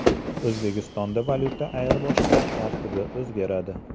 O‘zbekistonda valyuta ayirboshlash tartibi o‘zgaradi.